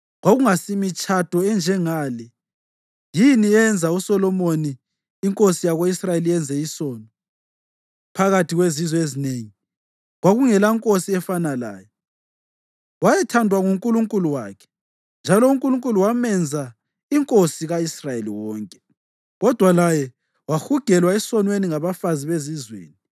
Kwakungasimitshado enjengale yini eyenza uSolomoni inkosi yako-Israyeli yenze isono? Phakathi kwezizwe ezinengi kwakungelankosi efana laye. Wayethandwa nguNkulunkulu wakhe, njalo uNkulunkulu wamenza inkosi ka-Israyeli wonke, kodwa laye wahugelwa esonweni ngabafazi bezizweni.